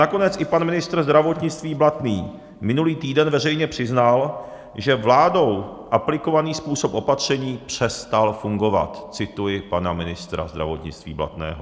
Nakonec i pan ministr zdravotnictví Blatný minulý týden veřejně přiznal, že vládou aplikovaný způsob opatření "přestal fungovat", cituji pana ministra zdravotnictví Blatného.